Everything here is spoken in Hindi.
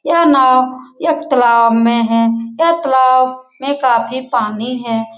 यह नाव एक तालाब मे है यहा तालाब में काफी पानी है |